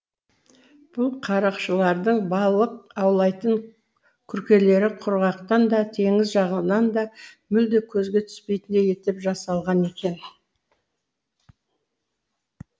бұл қарақшылардың балық аулайтын күркелері құрғақтан да теңіз жағынан да мүлде көзге түспейтіндей етіп жасалған екен